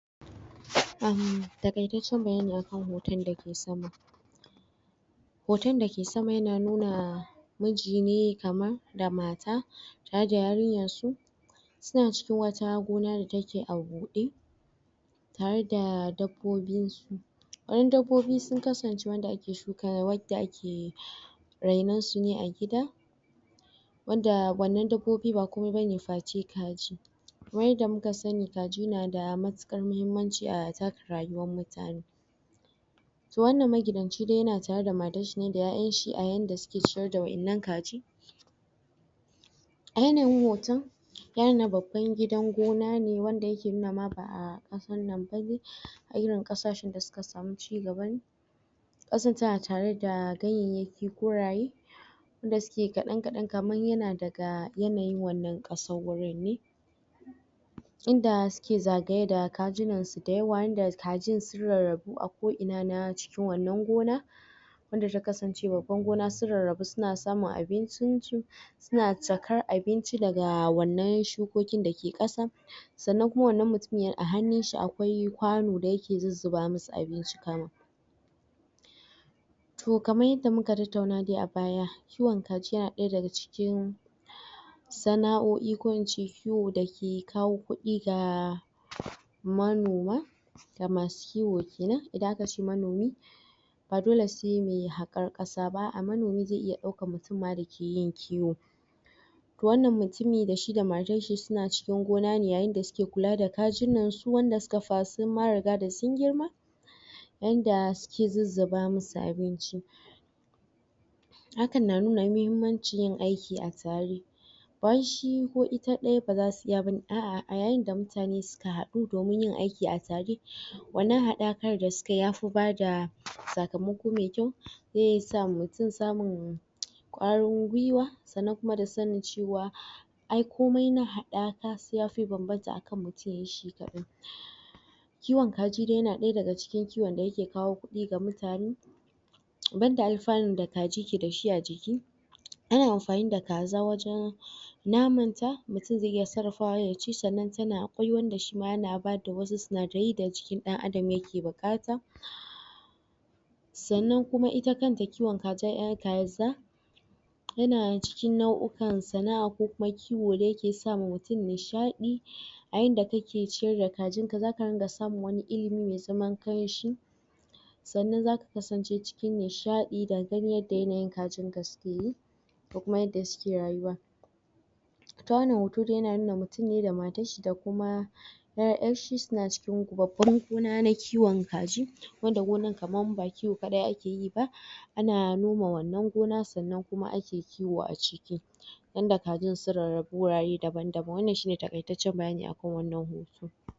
um takaitatcen bayani akan hoton da ke sama hoton da ke sama ya na numa miji ne kamar da mata har da yarinyan su suna cikin wata hagu na wanda take a bude har da dabbobin su? dabbobi su kasance wanda ake shuka da wanda ake rainan su ne a gida wanda wannan dabbobi ba komai?? kaji kamar yadda muka sani kaji na da matukar muhimmanci a taka rayuwn mutane toh wannan maginanci dai yana tare da matan shi ne da yayan shi a yanda su ke ciyar da wayannankaji a yanayin hoton wayannan baban gidan gona ne wanda suke nuna ma ba'a wannan? a irin kasashen da suka samu ci gaban? tare da ganyayyaki ko raye wanda suke kadan kadan kamar yana daga yanayin wannan kasan wurin ne in da suke zagaye da kajinan su da yawa in da kajinsu rarrabu a ko ina na cikin wannan gona wanda sun kasancewa baban gona sun rarrabu su na samun abincin su suna cakar abinci da ga wannan shukoki da ake kasa sannan kuma wannan mutumiyar a hannun shi akwai kwanu da yake zuzuba musu abinci kamun toh kamar yadda muka tattauna dai a baya kiwon kaji na daya daga cikin sana'o'i ko ince kiwo da ke kawo kudi ga manoma da masu kiwo kenan idan aka ce manomi ba dole sai mai hakar kasa ba a manomi zai iya dauka mutum da ke yin kiwo toh wannan mutumi da shi da matar shi suna cikin gona ne yayin da suke kula da kajinan su wandanda su kaga sun fara sa da sun girma yanda suke zuzzuba musu abinci hakan na nuna muhimmanci da ke a tare ba wai shi ko ita baza su iya bane a'a a yayin da mutane da suka hadu domin yin aikia a tare wannan hadar kai da su ka yi ya fi ba da tsakamako mai kyau zai sa mutum samun kwarin gwiwa sannan kuma da sannin cewa ai komai na hadata sai ya fi banbanta akan mutum ya yi shi kadan kiwonkaji dai yana daya daga cikin kiwon da ya ke kawo kudi ga mutane ban da alfarin da kaji ke da shi a jiki ana amfani da kaza wajan naman ta mutum zai iya sarrafawa ya ci sannan ta na koyon da shi ma yana ba da wasu sunadiri da jiki dan Adam da mai yake bukata sanan kuma ita kanta kiwon kaza yana ciki naukan sana'a ko kuma kiwo da ya ke sa ma mutum nishadi a yanda kake cire kajin ka zaka ringa samun wani ilimi mai zaman kamshi sannan zaka kasance cikin nishadi da ganin yadda kajin ka su ke yi ko kuma yadda suke rayuwa ita wannan hoto dai tana nuna wa mutum ne matan shi da kuma yayar shi su na cikin babban gona na kiwon kaji wanda gona kamar ba kiwo kadai a ke yi ana noma wannan gona sannan kuma ake kiwo a ciki wanda kajin sun rarrabu wurare daban daban wannan shi ne takaitacen bayani akan shi wannan hoto